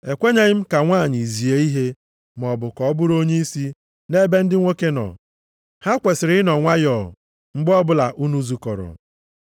Ekwenyeghị m ka nwanyị zie ihe, maọbụ ka ọ bụrụ onyeisi nʼebe ndị nwoke nọ. Ha kwesiri ịnọ nwayọọ mgbe ọbụla unu zukọrọ.